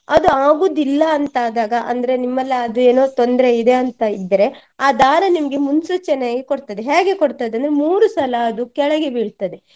ಅದು ಆಗುದಿಲ್ಲ ಅಂತಾದಾಗ ಅಂದ್ರೆ ನಿಮ್ಮಲ್ಲೇ ಅದು ಏನೋ ತೊಂದ್ರೆ ಇದೆ ಅಂತ ಇದ್ರೆ ಆ ದಾರ ನಿಮ್ಗೆ ಮೂನ್ಸೂಚನೆಯಾಗಿ ಕೊಡ್ತದೆ ಹ್ಯಾಗೆ ಕೊಡ್ತದೆ ಅದು ಮೂರು ಸಲ ಅದು ಕೆಳಗೆ ಬೀಳ್ತದೆ.